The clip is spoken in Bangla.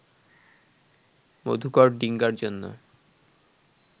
মধুকর ডিঙ্গার জন্য